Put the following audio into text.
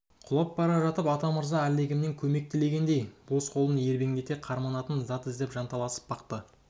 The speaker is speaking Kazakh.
құлап бара жатып атамырза әлдекімнен көмек тілегендей бос қолын ербеңдете қарманатын зат іздеп жанталасып бақты